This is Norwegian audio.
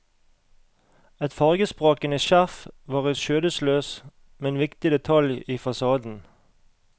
Et fargesprakende skjerf var en skjødesløs, men viktig detalj i fasaden.